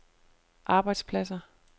arbejdspladser